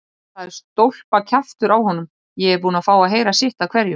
Það er stólpakjaftur á honum, ég er búinn að fá að heyra sitt af hverju.